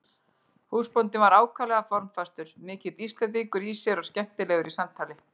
Húsbóndinn var ákaflega formfastur, mikill Íslendingur í sér og skemmtilegur í samtali.